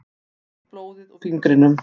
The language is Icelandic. Sýg blóðið úr fingrinum.